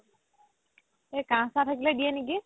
এহ কাহ চাহ থাকিলে দিয়ে নেকি